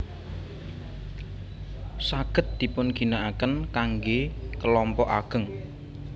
Saged dipunginaaken kangge kelompok ageng